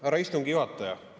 Härra istungi juhataja!